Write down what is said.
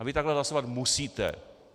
A vy takhle hlasovat musíte.